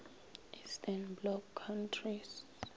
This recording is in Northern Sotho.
eastern bloc countries